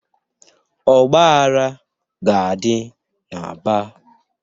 Ọgbaghara ga-adị n'Aba.